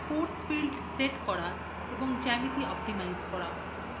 force field set করা এবং geometry optimize করা